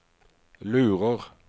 lurer